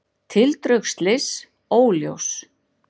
Tildrög slyss óljós